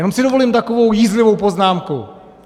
Jenom si dovolím takovou jízlivou poznámku.